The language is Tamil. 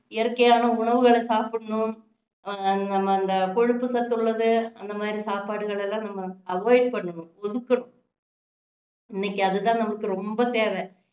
இயற்கையான உணவுகளை சாப்பிடணும் ஆஹ் அந்த கொழுப்பு சத்து உள்ளது அந்த மாதிரி சாப்பாடுகளை எல்லாம் நம்ம avoid பண்ணணும் ஒதுக்கணும் இன்னைக்கு அது தான் நம்மளுக்கு ரொம்ப தேவை